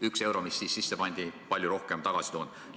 Üks euro, mis siis sisse pandi, on palju rohkem tagasi toonud.